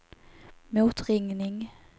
motringning